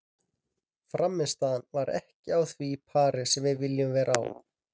Frammistaðan var ekki á því pari sem við viljum vera á.